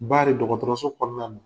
Baari dɔgɔtɔrɔso kɔɔna na